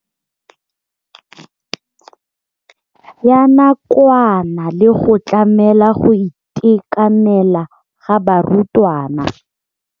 Ya nakwana le go tlamela go itekanela ga barutwana.